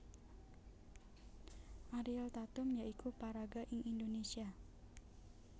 Ariel Tatum ya iku paraga ing Indonésia